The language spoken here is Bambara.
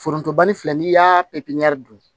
Forontobani filɛ n'i y'a pepiɲɛri don